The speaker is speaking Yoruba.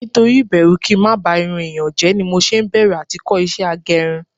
Nítorí ibẹru kí ń má ba irun èèyàn jẹ́ ni mo ṣe ń bẹ̀rù à ti kọ́ ìṣe agẹrun